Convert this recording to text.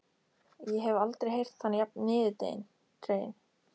Ég hef aldrei heyrt hann jafn niðurdreginn.